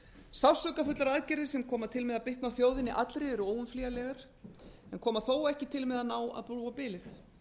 sársaukafullar aðgerðir sem koma til með að bitna á þjóðinni allri eru óumflýjanlegar en koma þó ekki til með að ná að brúa bilið